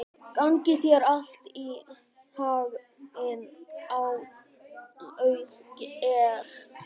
Gangi þér allt í haginn, Auðgeir.